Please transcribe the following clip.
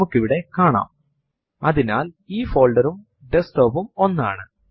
ഇപ്പോൾ നമ്മൾ എന്റർ അമർത്തുമ്പോൾ കമാൻഡ് user ൽ നിന്നും input നായി കാത്തിരിക്കും